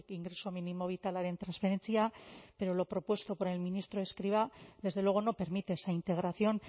ingreso minimo vitalaren transferentzia pero lo propuesto por el ministro escrivá desde luego no permita esa integración